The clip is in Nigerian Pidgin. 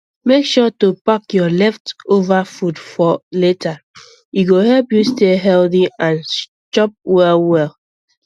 make sure to pack your leftover food for later e go help you stay healthy and chop well well